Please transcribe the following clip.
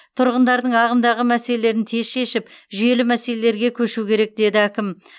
тұрғындардың ағымдағы мәселелерін тез шешіп жүйелі мәселелерге көшу керек деді әкім